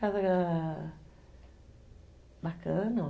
Casa... bacana.